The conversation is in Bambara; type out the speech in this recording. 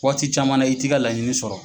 Waati caman na i t'i ka laɲini sɔrɔ.